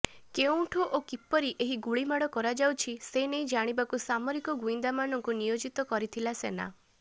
କେଉଁଠୁ ଓ କିପରି ଏହି ଗୁଳିମାଡ଼ କରାଯାଉଛି ସେନେଇ ଜାଣିବାକୁ ସାମରିକ ଗୁଇନ୍ଦାମାନଙ୍କୁ ନିୟୋଜିତ କରିଥିଲା ସେନା